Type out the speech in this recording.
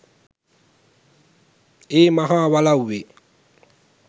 ඒ මහා වලව්වේ